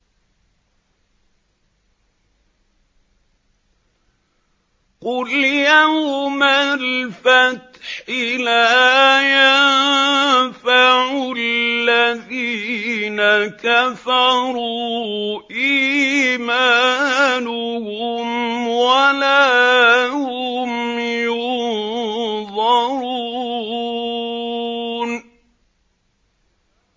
قُلْ يَوْمَ الْفَتْحِ لَا يَنفَعُ الَّذِينَ كَفَرُوا إِيمَانُهُمْ وَلَا هُمْ يُنظَرُونَ